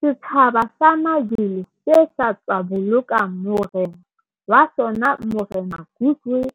Setjhaba sa Mazulu se sa tswa boloka morena wa sona Morena Goodwill